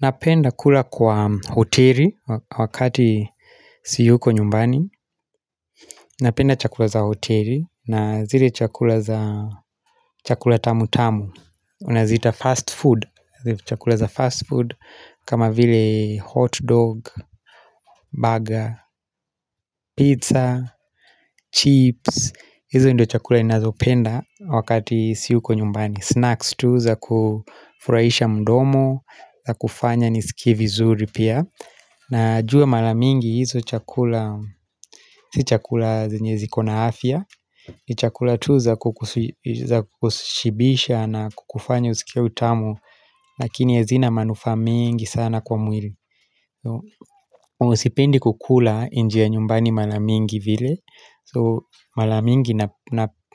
Napenda kula kwa hoteli wakati siyuko nyumbani Napenda chakula za hoteli na zile chakula za chakula tamu tamu tunaziita fast food, zile chakula za fast food kama vile hot dog, burger, pizza, chips hizo ndo chakula ninazo penda wakati siyuko nyumbani Snacks tu za kufurahisha mdomo, za kufanya nisikie vizuri pia najua mara mingi hizo chakula si chakula zenye zikona afya ni chakula tu za kukushibisha na kukufanya usikie utamu lakini hazina manufaa mengi sana kwa mwili sipendi kukula nje nyumbani mara mingi vile so mara mingi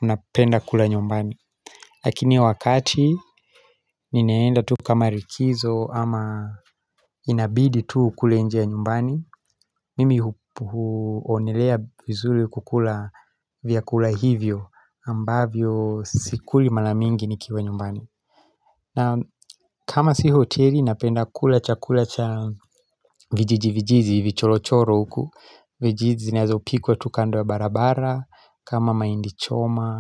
napenda kula nyumbani lakini wakati ninaenda tu kama likizo ama inabidi tu ukule nje ya nyumbani Mimi huonelea vizuri kukula vyakula hivyo ambavyo sikuli mara mingi nikiwa nyumbani. Na kama si hoteli napenda kula cha kula cha vijiji vijiji vichorochoro huku. Vijiji zinazopikwa tu kando ya barabara. Kama maindi choma.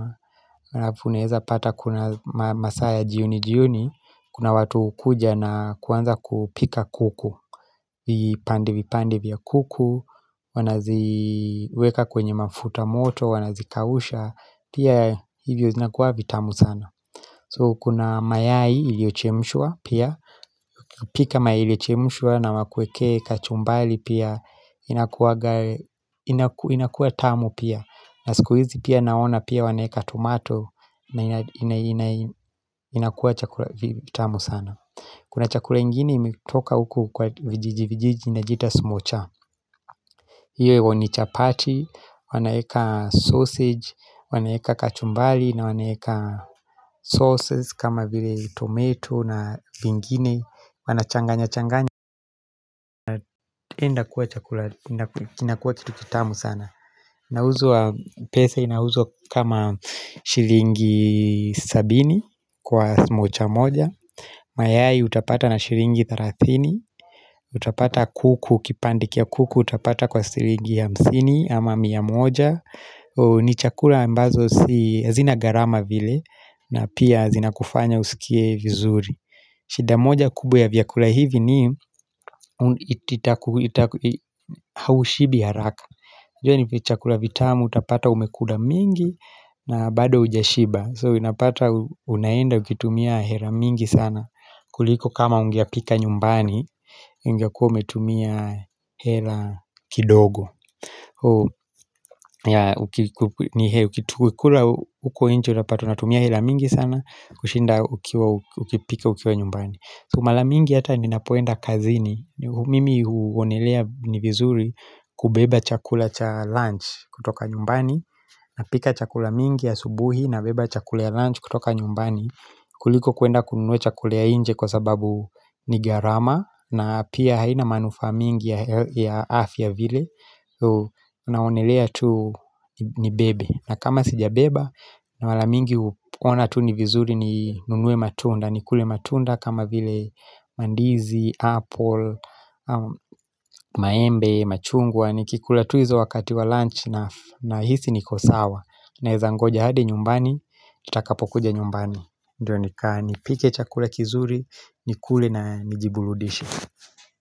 Alafu unafuneza pata kuna masaa ya jioni jioni Kuna watu hukuja na kuanza kupika kuku. Vipande vipande vya kuku. Wanaziweka kwenye mafuta moto Wanazikausha Pia hivyo zinakuwa vitamu sana So kuna mayai iliyochemshwa pia pika mayai iliyochemshwa na wakuwekee kachumbali pia inakuwanga inakuwa tamu pia na siku hizi pia naona pia waneka tomato na inakuwa chakula kitamu sana Kuna chakula ingine imetoka uku kwa vijiji vijiji inajita smocha Iyo ni chapati, wanaeka sausage, wanaeka kachumbali na wanaeka sauces kama vile tomato na vingine Wanachanganya changanya, enda kuwa chakula inakuwa kitu kitamu sana inauzwa pesa inauzwa kama shillingi sabini kwa smocha moja Mayfair utapata na shiringi tharathini utapata kuku kipange cha kuku utapata kwa shillingi mia moja ni chakula ambazo hazina garama vile na pia zina kufanya usikie vizuri. Shida moja kubwa ya vyakula hivi ni ita haushibi haraka. Ju ni chakula vitamu utapata umekula mingi na bado hujashiba. So unapata unaenda ukitumia hela mingi sana. Kuliko kama ungepika nyumbani, ungekua umetumia hela kidogo. Ukikula huko nje utapata unatumia hela mingi sana kushinda uki ukipika ukiwa nyumbani so mara mingi hata ninapoenda kazini Mimi huonelea ni vizuri kubeba chakula cha lunch kutoka nyumbani napika chakula mingi ya asubuhi na beba chakula ya lunch kutoka nyumbani kuliko kuenda kununua chakula ya nje kwa sababu ni garama na pia haina manufaa mingi ya afya vile Unaonelea tu ni bebe na kama sija beba na wala mingi uona tu ni vizuri ni nunuwe matunda Nikule matunda kama vile mandizi, apple, maembe, machungwa Nikikula tu hizo wakati wa lunch na hisi niko sawa Naeza ngoja hadi nyumbani, nitakapo kuja nyumbani Ndiyo nipike chakula kizuri, nikule na nijiburudishe.